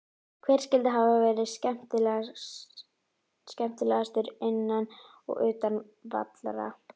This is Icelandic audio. Hver skyldi hafa verði skemmtilegastur innan og utan vallar?